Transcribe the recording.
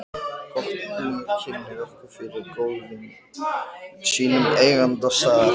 Gott hné kynnir okkur fyrir góðvini sínum, eiganda staðar